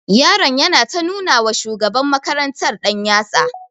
Yaron yana ta nuna wa shugaban makarantar ɗanyatsa.